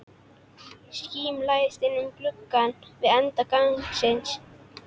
Skíma læðist inn um glugga við enda gangsins.